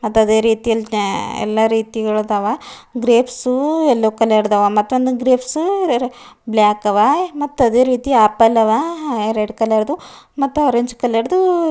ಮತ್ತ್ ಅದೆ ರೀತಿಯಲಿ ತ್ಯ ಎಲ್ಲಾ ರೀತಿಗಳದಾವ ಗ್ರೆಪ್ಸು ಎಲ್ಲೋ ಕಲರ್ ಅದಾವ ಮತ್ತೊಂದ್ ಗ್ರೆಪ್ಸೂ ಬ್ಲ್ಯಾಕ್ ಅವ ಅದೆ ರೀತಿ ಆಪಲ್ ಅವ ಹ ರೆಡ್ ಕಲರ್ ದು ಮತ್ತ್ ಆರೆಂಜ್ ಕಲರ್ ದೂ--